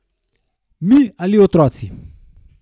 Mi ali otroci?